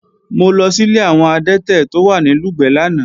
Mo lọ sílé àwọn adẹ́tẹ̀ tó wà ní Lùgbẹ̀ lánàá